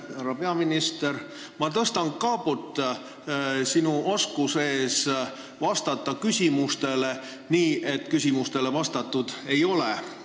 Hea härra peaminister, ma tõstan kaabut sinu oskuse ees vastata küsimustele nii, et neile vastatud ei ole.